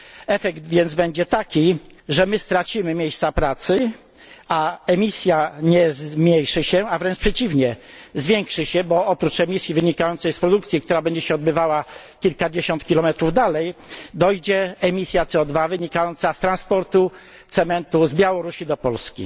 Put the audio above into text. Efekt więc będzie taki, że my stracimy miejsca pracy, a emisja nie zmniejszy się, a wręcz przeciwnie, zwiększy się, bo oprócz emisji wynikającej z produkcji, która będzie się odbywała kilkadziesiąt kilometrów dalej, dojdzie emisja CO wynikająca z transportu cementu z Białorusi do Polski.